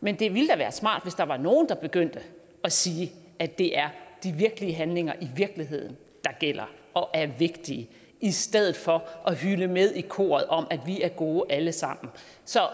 men det ville da være smart hvis der var nogen der begyndte at sige at det er de virkelige handlinger i virkeligheden der gælder og er vigtige i stedet for at hyle med i koret om at vi er gode alle sammen så